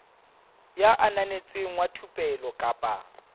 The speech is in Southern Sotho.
ya ananetsweng wa thupelo kapa